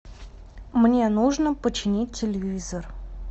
мне нужно починить телевизор